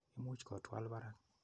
Imuch ko twaal parak.